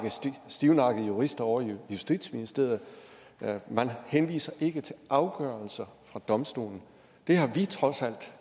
stivnakkede jurister ovre i justitsministeriet men man henviser ikke til afgørelser fra domstolen det har vi trods alt